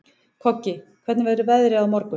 Koggi, hvernig verður veðrið á morgun?